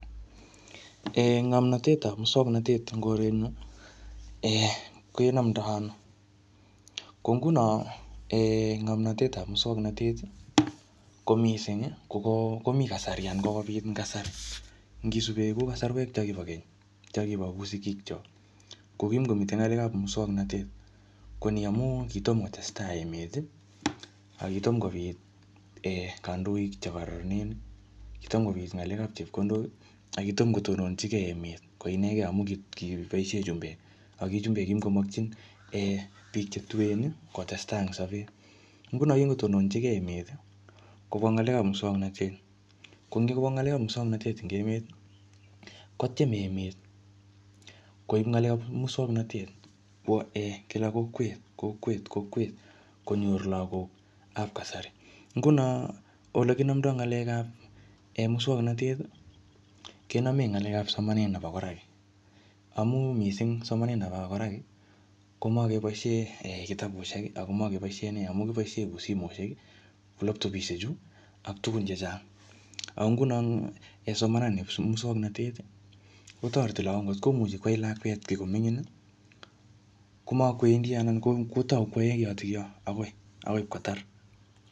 um Ngomnotet ap muswagnatet eng koret nyu, um kenamdoi ano. Ko nguno um ngomnotetap muswagnatet, ko missing ko-ko-komi kasari anan kokobit eng kasari. Ngisube ku kasarwek cho kibo keny, cho kibo kuu sigik chok, ko kimukomitei ng'alekap muswagnatet. Ko ni amu kitom kotestai emet, akitom kobit um kandoik chebo chekararanen. Kitom kobit ng'alekap chepkondok, akitom kotononchikei emet ko ienegei amu kiboisie chumbek. Aki chumbek kimukomakchin um biik che tuen kotestai eng sapet. Nguno kingotononchikei emet, kibwaa ng'alekap muswaganatet. Ko ngikobwa ng'alekap muswakantet eng emet, kotiem emet koip ng'alekap muswagnatet kobwa um kila kokwet, kokwet kokwet. Konyor lagokap kasari. Nguno ole kinamdoi ng'alekap um muswagnatet, kename ng'alekap somanet neb koraki. Amu missing somanet nebo koraki, komakeboisiei kitabusiek, ako makebosiie nee. Amu kiboisie ku simoshek, laptopisiek chu, ak tugun chechang. Ako nguno eng somanani nep muswagnatet, kotoreti lagok. Ngotkomuchi kwai lakwet kii ko mingin, komakwendi anan ko-kotau kwae kitotokyo agoi-agoi ipkotar.